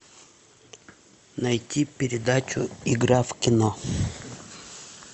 найти передачу игра в кино